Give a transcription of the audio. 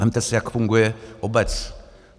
Vezměte si, jak funguje obec.